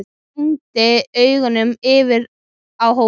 Og renndi augunum yfir á hópinn.